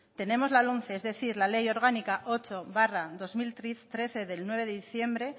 tenemos la lomce es decir la ley orgánica ocho barra dos mil trece del nueve de diciembre